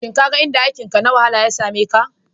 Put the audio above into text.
Shin ka ga inda aikinka na wahala ya same ka?